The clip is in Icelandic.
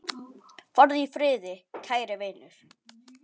Farðu í friði, kæri vinur.